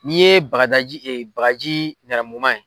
N'i ye bagadaji bagaji nɛrɛ muguman in.